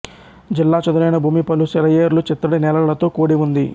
జిల్లా చదునైన భూమి పలు సెలయేర్లు చిత్తడి నేలలతో కూడి ఉంది